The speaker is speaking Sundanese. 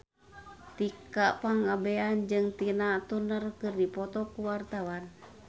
Tika Pangabean jeung Tina Turner keur dipoto ku wartawan